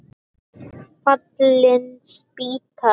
Fallin spýta!